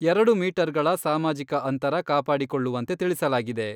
ಎರಡು ಮೀಟರ್ಗಳ ಸಾಮಾಜಿಕ ಅಂತರ ಕಾಪಾಡಿಕೊಳ್ಳುವಂತೆ ತಿಳಿಸಲಾಗಿದೆ.